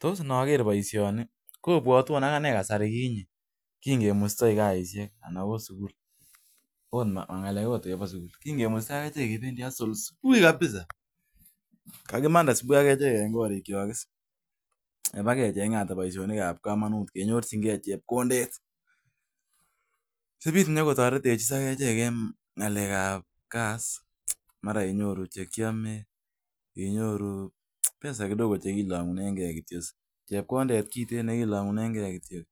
Tos en ager baisyoni, kobuatuan kasari ginye ki ngemustai kasishek, anan ot sugul. Kigemustai echek kiwe hustle subui nia.